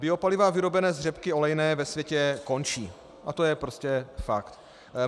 Biopaliva vyrobená z řepky olejné ve světě končí a to je prostě fakt.